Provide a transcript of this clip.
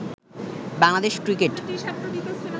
Bangladesh cricket